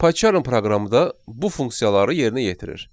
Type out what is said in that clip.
PyCharm proqramı da bu funksiyaları yerinə yetirir.